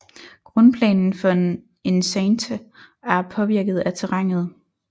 Grundplanen for en enceinte er påvirket af terrænet